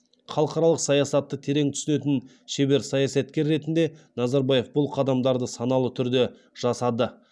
халықаралық саясатты терең түсінетін шебер саясаткер ретінде назарбаев бұл қадамдарды саналы түрде жасады